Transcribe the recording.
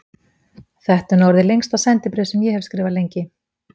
Þetta er nú orðið lengsta sendibréf sem ég hef skrifað lengi.